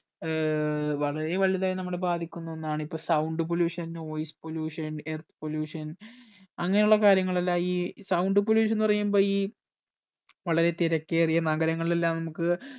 ഏർ വളരെ വലുതായി നമ്മുടെ ബാധിക്കുന്ന ഒന്നാണ് ഇപ്പൊ sound pollution noise pollution earth pollution അങ്ങനെ ഉള്ള കാര്യങ്ങൾ എല്ലാം ഈ sound pollution എന്ന് പറയുമ്പോ ഈ വളരെ തിരക്കേറിയ നഗരങ്ങളിൽ എല്ലാം നമ്മുക്ക്